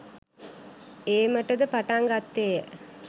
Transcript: ඒමටද පටන් ගත්තේය.